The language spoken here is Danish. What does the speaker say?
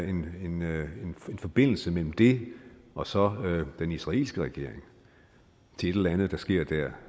en forbindelse mellem det og så den israelske regering til et eller andet der sker der